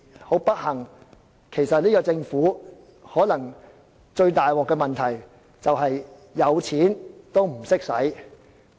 很不幸，這個政府最嚴重的問題其實可能是有錢也不懂花。